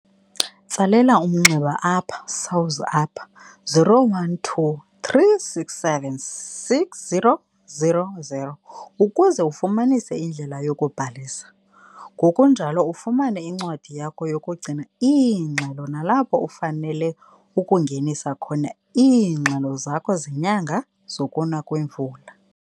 Tsalela umnxeba apha SAWS apha 012 367 6000 ukuze ufumanise indlela yokubhalisa, ngokunjalo ufumane incwadi yakho yokugcina iingxelo nalapho ufanele ukungenisa khona iingxelo zakho zenyanga zokuna kwemvula.